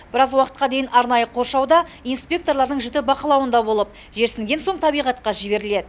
біраз уақытқа дейін арнайы қоршауда инспекторлардың жіті бақылауында болып жерсінген соң табиғатқа жіберіледі